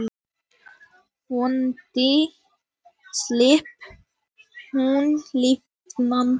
Vonandi slapp hún lifandi.